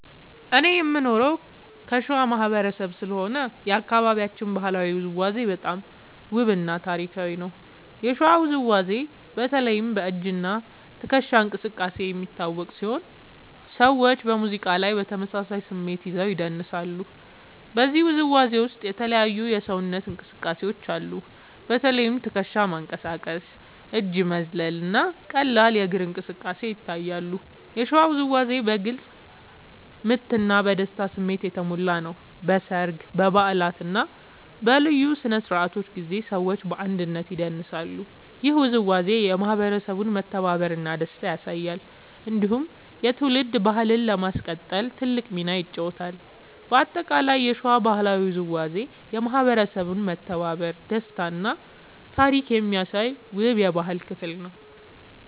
እኔ የምኖረው ከሸዋ ማህበረሰብ ስለሆነ የአካባቢያችን ባህላዊ ውዝዋዜ በጣም ውብ እና ታሪካዊ ነው። የሸዋ ውዝዋዜ በተለይ በ“እጅ እና ትከሻ እንቅስቃሴ” የሚታወቅ ሲሆን ሰዎች በሙዚቃ ላይ በተመሳሳይ ስሜት ይዘው ይደንሳሉ። በዚህ ውዝዋዜ ውስጥ የተለያዩ የሰውነት እንቅስቃሴዎች አሉ። በተለይ ትከሻ መንቀሳቀስ፣ እጅ መዝለል እና ቀላል እግር እንቅስቃሴ ይታያሉ። የሸዋ ውዝዋዜ በግልጽ ምት እና በደስታ ስሜት የተሞላ ነው። በሰርግ፣ በበዓላት እና በልዩ ስነ-ስርዓቶች ጊዜ ሰዎች በአንድነት ይደንሳሉ። ይህ ውዝዋዜ የማህበረሰቡን መተባበር እና ደስታ ያሳያል። እንዲሁም የትውልድ ባህልን ለማስቀጠል ትልቅ ሚና ይጫወታል። በአጠቃላይ የሸዋ ባህላዊ ውዝዋዜ የማህበረሰብ መተባበር፣ ደስታ እና ታሪክ የሚያሳይ ውብ የባህል ክፍል ነው።